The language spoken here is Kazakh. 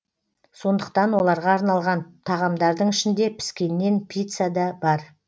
сондықтан оларға арналған тағамдардың ішінде піскеннен пицца да бар